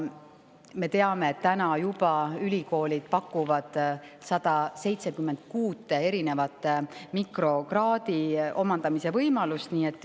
Me teame, et juba täna pakuvad ülikoolid 176 erineva mikrokraadi omandamise võimalust.